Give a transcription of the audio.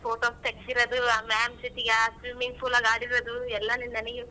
Photos ತೆಗ್ಸಿರೋದು ಆ ma'am ಜೊತಿಗ ಆ swimming pool ಅಲ್ಲ್ ಆಡಿರೋದು ಎಲ್ಲಾ ನೀನ್ ನನಿಗೆ.